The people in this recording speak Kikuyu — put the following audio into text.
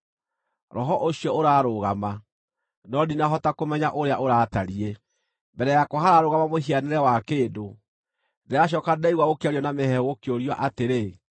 Roho ũcio ũrarũgama, no ndinahota kũmenya ũrĩa ũratariĩ. Mbere yakwa hararũgama mũhianĩre wa kĩndũ, ndĩracooka ndĩraigua gũkĩario na mĩheehũ gũkĩũrio atĩrĩ,